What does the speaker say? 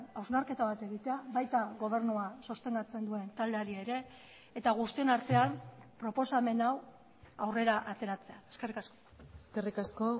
hausnarketa bat egitea baita gobernua sostengatzen duen taldeari ere eta guztion artean proposamen hau aurrera ateratzea eskerrik asko eskerrik asko